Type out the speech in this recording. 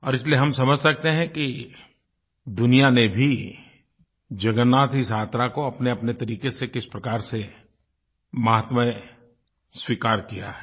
और इसलिए हम समझ सकते हैं कि दुनिया ने भी जगन्नाथ की इस यात्रा को अपनेअपने तरीक़े से किस प्रकार से माहात्म्य स्वीकार किया है